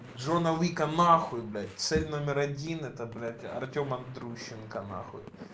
джона уика нахуй блять цель номер один это блять артем андрущенко нахуй